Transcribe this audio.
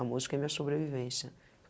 A música é minha sobrevivência.